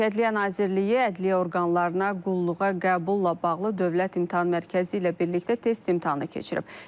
Ədliyyə Nazirliyi, ədliyyə orqanlarına qulluğa qəbulla bağlı Dövlət İmtahan Mərkəzi ilə birlikdə test imtahanı keçirib.